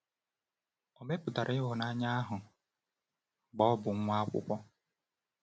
O mepụtara ịhụnanya ahụ mgbe ọ bụ nwa akwụkwọ.